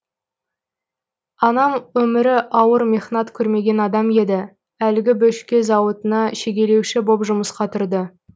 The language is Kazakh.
анам өмірі ауыр мехнат көрмеген адам еді әлгі бөшке зауытына шегелеуші боп жұмысқа тұрды